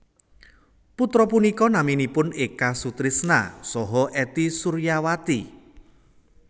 Putra punika naminipun Eka Sutrisna saha Ety Suryawati